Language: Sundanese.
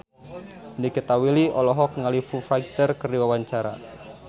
Nikita Willy olohok ningali Foo Fighter keur diwawancara